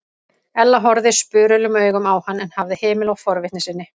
Ella horfði spurulum augum á hann en hafði hemil á forvitni sinni.